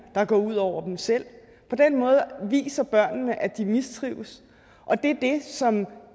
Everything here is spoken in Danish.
der går ud over dem selv på den måde viser børnene at de mistrives og det er det som